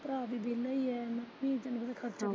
ਹਾਂ ਭਰਾ ਵੀ ਵਿਹਲਾ ਹੀ ਹੈ ਧੀ ਭੈਣ ਦਾ ਤਾਂ ਖਰਚਾ।